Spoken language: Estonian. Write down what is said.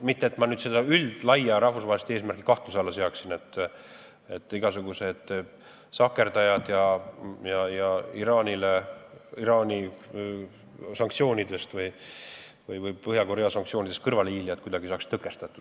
Mitte et ma üldist rahvusvahelist eesmärki kahtluse alla seaksin: igasuguseid sahkerdajaid ja Iraani või Põhja-Korea sanktsioonidest kõrvalehiilijaid peab tõkestama.